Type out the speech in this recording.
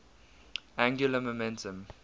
angular momentum